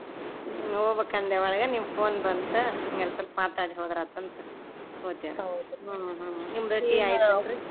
ಹೋಬಕಂದೆ ಒಳಗೆ ನಿಮ್ phone ಬಂತ ಹಂಗಾರ್ ಸ್ವಲ್ಪ್ ಮಾತಾಡ್ ಹೋದ್ರ್ ಆತ್ ಅಂತ ಕೂತ್ವಿರಿ ನಿಮ್ದ್ tea ?